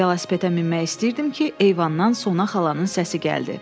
Velosipedə minmək istəyirdim ki, eyvandan Sona xalanın səsi gəldi.